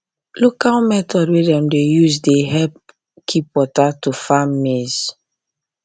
local method wey dem dey use dey help keep water to farm maize